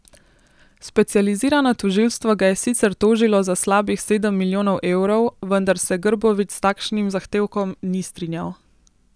Specializirano tožilstvo ga je sicer tožilo za slabih sedem milijonov evrov, vendar se Grbović s takšnim zahtevkom ni strinjal.